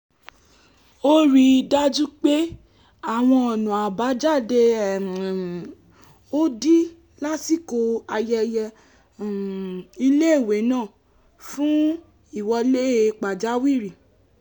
ó rí i dájú pé àwọn ọ̀nà àbájáde um ò dí lásìkò ayẹyẹ um iléèwé náà fún ìwọlé pàjáwìrì